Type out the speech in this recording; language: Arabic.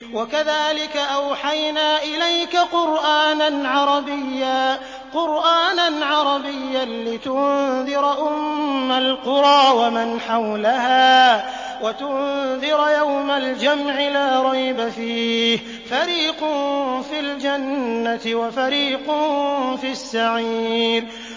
وَكَذَٰلِكَ أَوْحَيْنَا إِلَيْكَ قُرْآنًا عَرَبِيًّا لِّتُنذِرَ أُمَّ الْقُرَىٰ وَمَنْ حَوْلَهَا وَتُنذِرَ يَوْمَ الْجَمْعِ لَا رَيْبَ فِيهِ ۚ فَرِيقٌ فِي الْجَنَّةِ وَفَرِيقٌ فِي السَّعِيرِ